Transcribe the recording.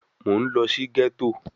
Mo ń lọ sí gẹ́tò